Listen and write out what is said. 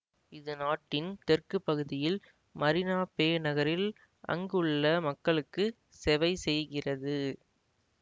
இது நாட்டின் தெற்கு பகுதியில் மரீனா பே நகரில் அங்குள்ள மக்களுக்கு செவைசெய்கிறது